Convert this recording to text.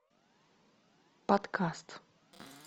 подкаст